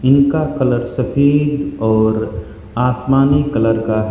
उनका कलर सफेद और आसमानी कलर का है।